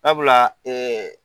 Sabula